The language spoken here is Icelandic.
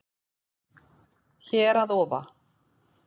Hér að ofa